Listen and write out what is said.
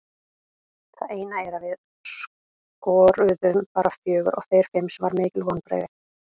Það eina er að við skoruðum bara fjögur og þeir fimm sem var mikil vonbrigði.